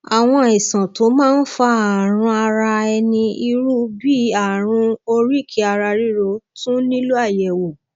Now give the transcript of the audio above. àwọn àìsàn tó máa ń fa àrùn ara ẹni irú bí àrùn oríkèéararírò tún nílò àyẹwò